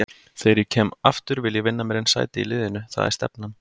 Þegar ég kem aftur vil ég vinna mér inn sæti í liðnu, það er stefnan.